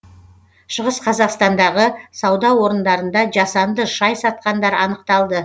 шығыс қазақстандағы сауда орындарында жасанды шай сатқандар анықталды